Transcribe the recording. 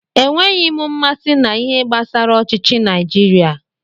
Enweghị m mmasị na-ihe gbasara ọchịchi Naijiria.